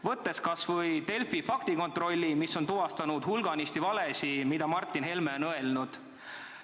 Võtame kas või Delfi faktikontrolli, mis on tuvastanud hulganisti valesid, mida Martin Helme on öelnud.